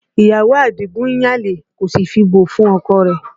Ìyàwó Adigun ń yan àlè kò sì fi bò fún ọkọ rẹ̀